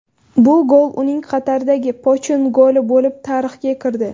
Bu gol uning Qatardagi pochin goli bo‘lib tarixga kirdi.